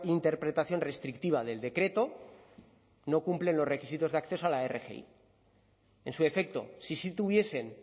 interpretación restrictiva del decreto no cumplen los requisitos de accesos a la rgi en su defecto si sí tuviesen